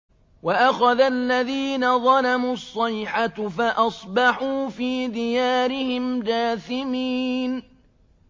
وَأَخَذَ الَّذِينَ ظَلَمُوا الصَّيْحَةُ فَأَصْبَحُوا فِي دِيَارِهِمْ جَاثِمِينَ